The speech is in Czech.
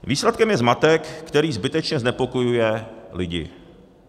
Výsledkem je zmatek, který zbytečně znepokojuje lidi.